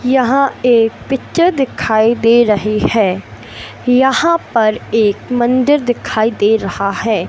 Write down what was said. यहां एक पिक्चर दिखाई दे रही है यहां पर एक मंदिर दिखाई दे रहा है।